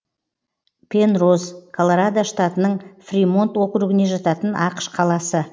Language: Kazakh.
пенроз колорадо штатының фримонт округіне жататын ақш қаласы